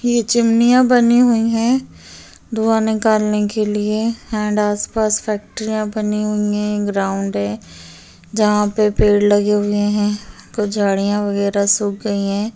ये चिमनिया बनी हुई है धुँआ निकालने के लिए अँड आस पास फ़ैक्टरिया बनी हुई है ग्राउंड है जहा पे पेड़ लगे हुए है कुछ झाड़ियाँ वगेरा सुख गयी है।